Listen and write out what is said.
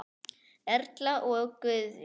Erla og Guðjón.